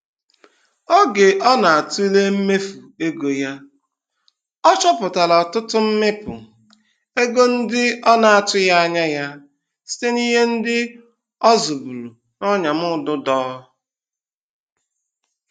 Ógè ọ natule mmefu ego ya, ọ chọpụtara ọtụtụ mmịpụ ego ndị ọ na-atụghị anya ya, site ihe ndị ọ zụburu n'ọnyamụdụdọ.